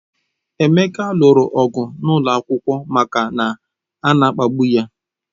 Emeka lụrụ ọgụ n'ụlọ akwụkwọ maka na ana-akpagbu ya.